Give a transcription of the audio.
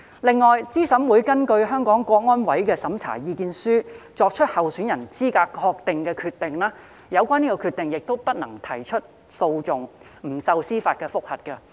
另外，對資審會根據香港特別行政區維護國家安全委員會的審查意見書作出的候選人資格確認的決定，不能提出訴訟，不受司法覆核。